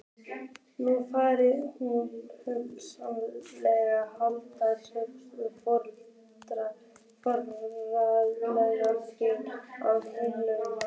Nú faðmar hún hauslaus handalausa foreldra þína á himnum.